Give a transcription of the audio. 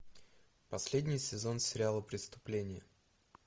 последний сезон сериала преступление